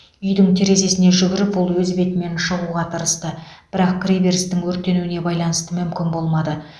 үйдің терезесіне жүгіріп ол өз бетімен шығуға тырысты бірақ кіреберістің өртенуіне байланысты мүмкін болмады